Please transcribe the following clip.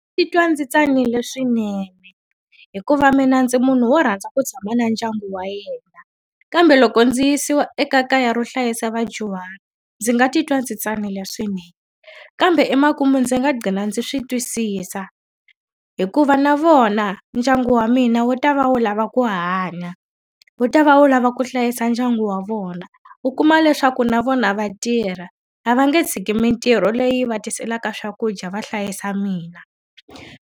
Ndzi titwa ndzi tsanile swinene hikuva mina ndzi munhu wo rhandza ku tshama na ndyangu wa yena. Kambe loko ndzi yisiwa ekaya ro hlayisa vadyuhari, ndzi nga titwa ndzi tsanile swinene. Kambe emakumu ndzi nga qhina ndzi swi twisisa, hikuva na vona ndyangu wa mina wu ta va wu lava ku hanya, wu ta va wu lava ku hlayisa ndyangu wa vona. U kuma leswaku na vona va tirha, a va nge tshiki mintirho leyi va tiselaka swakudya va hlayisa mina.